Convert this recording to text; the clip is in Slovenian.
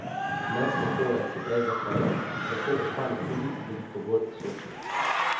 Mesne pore se prej zaprejo, zato ostane tudi veliko bolj sočna.